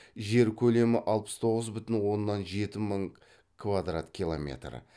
жер көлемі алпыс тоғыз бүтін оннан жеті мың квадрат километр